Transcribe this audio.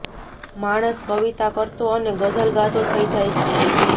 માણસ કવિતા કરતો અને ગઝલ ગાતો થઈ જાય છે